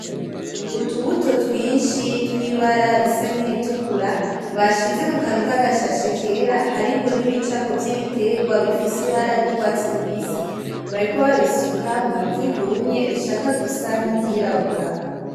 Utubuto twinshi twibara risa nkiritukura bashize mukantu ka gashashe kera, hariko nibicapo vy'ibiterwa bifise ibara ry'urwatsi rubisi. Bariko babisuka mwivu ryumye rishaka gusa nkiryirabura.